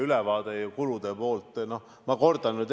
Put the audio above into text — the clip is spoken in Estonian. Aitäh!